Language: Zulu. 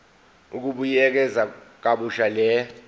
ukubuyekeza kabusha le